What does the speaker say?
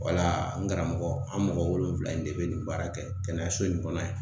Wala n karamɔgɔ an mɔgɔ wolonwula in de be nin baara kɛ kɛnɛyaso in kɔnɔ yan